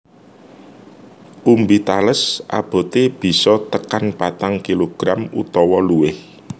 Umbi tales aboté bisa tekan patang kilogram utawa luwih